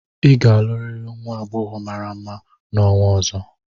ị ga-alụrịrị nwa agbọghọ mara mma n'ọnwa ọzọ!